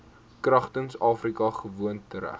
kragtens afrika gewoontereg